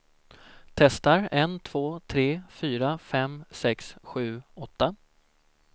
Testar en två tre fyra fem sex sju åtta.